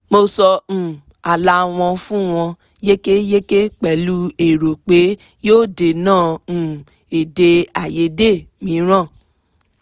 mo sọ um ààlà wọn fún wọn yékéyéké pẹ̀lú èrò pé yóò dènà um èdèàìyedè mìíràn